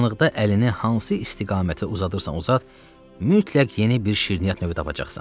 Qaranlıqda əlini hansı istiqamətə uzadırsansa uzat, mütləq yeni bir şirniyyat növü tapacaqsan.